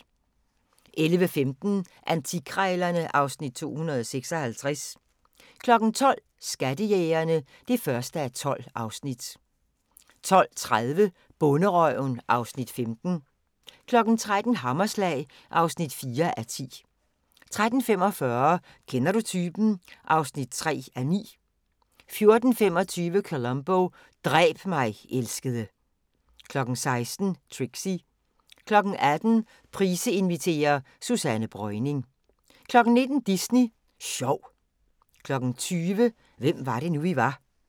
11:15: Antikkrejlerne (Afs. 256) 12:00: Skattejægerne (1:12) 12:30: Bonderøven (Afs. 15) 13:00: Hammerslag (4:10) 13:45: Kender du typen? (3:9) 14:25: Columbo: Dræb mig, elskede 16:00: Trixie 18:00: Price inviterer - Susanne Breuning 19:00: Disney Sjov 20:00: Hvem var det nu, vi var